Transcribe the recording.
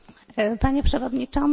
Panie Przewodniczący!